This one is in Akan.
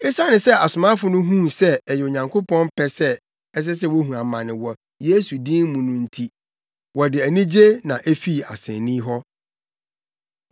Esiane sɛ asomafo no huu sɛ ɛyɛ Onyankopɔn pɛ sɛ ɛsɛ sɛ wohu amane wɔ Yesu din mu no nti, wɔde anigye na efii asennii hɔ.